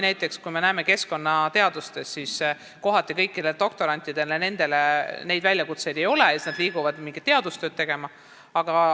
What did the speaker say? Nagu me näeme, näiteks keskkonnateadustes ei ole kohati kõikidele doktorantidele väljakutseid ja nad liiguvad siit ära mingit teadustööd tegema.